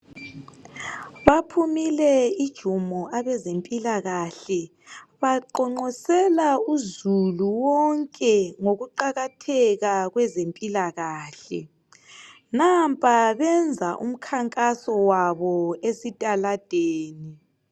Baphumile ijumo abezempilakahle baqonqosela uzulu wonke ngokuqakatheka kwezempilakahle nampa benza umkhankaso wabo emgwaqweni.